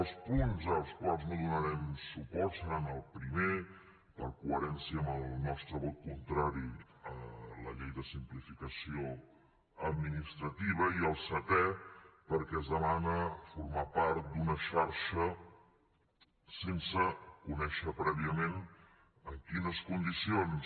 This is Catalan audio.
els punts als quals no donarem suport seran el primer per coherència amb el nostre vot contrari a la llei de simplificació administrativa i el setè perquè es demana formar part d’una xarxa sense conèixer prèviament en quines condicions